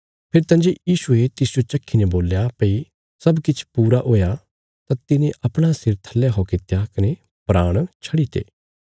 फेरी तंजे यीशुये तिसजो चखीने बोल्या भई सब किछ पूरा हुआ तां तिने अपणा सिर थल्ले खौ कित्या कने प्राण छड्डीते